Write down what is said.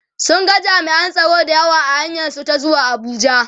sun ga jami'an tsaro da yawa a hanyar su ta zuwa Abuja